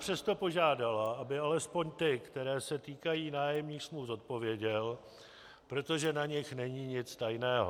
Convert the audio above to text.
Přesto požádala, aby alespoň ty, které se týkají nájemních smluv, zodpověděl, protože na nich není nic tajného.